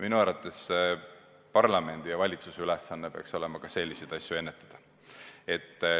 Minu arvates parlamendi ja valitsuse ülesanne peaks olema selliseid asju ennetada.